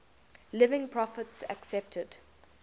living prophets accepted